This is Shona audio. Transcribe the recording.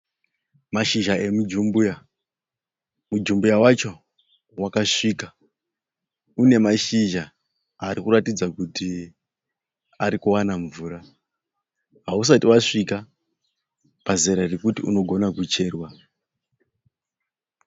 Mashizha emujumbuya. Mujumbuya wacho wakasvika. Unemashizha arikuratidza kuti arikuwana mvura. Hausati wasvika pazera rekuti unogona kucherwa.